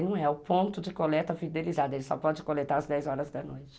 E não é o ponto de coleta fidelizado, ele só pode coletar às dez horas da noite.